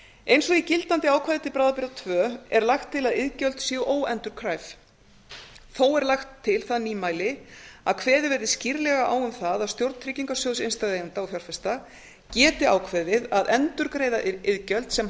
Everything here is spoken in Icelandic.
eins og í gildandi ákvæði til bráðabirgða tveggja er lagt til að iðgjöld séu óendurkræf þó er lagt til það nýmæli að kveðið verði skýrlega á um það að stjórn tryggingasjóðs innstæðueigenda og fjárfesta geti ákveðið að endurgreiða iðgjöld sem